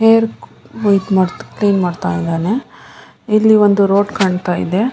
Hair clean ಮಾಡ್ತಾ ಇದ್ದಾನೆ ಇಲ್ಲಿ ಒಂದು ರೋಡ್ ಕಾಣ್ತಾ ಇದೆ.